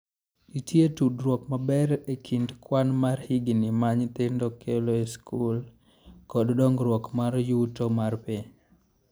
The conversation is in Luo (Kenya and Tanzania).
Nitie tudruok maber e kind kwan mar higini ma nyithindo kalo e skul kod dongruok mar yuto mar piny.